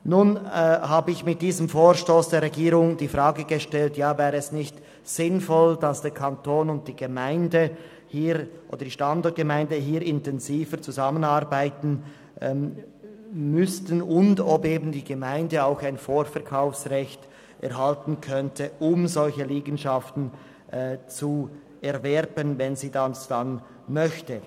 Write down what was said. Nun habe ich mit diesem Vorstoss der Regierung die Frage gestellt, ob es nicht sinnvoll wäre, wenn der Kanton und die Standortgemeinde hier intensiver zusammenarbeiten würden und die Gemeinde ein Vorkaufsrecht erhalten könnte, um solche Liegenschaften zu erwerben, wenn sie dies möchte.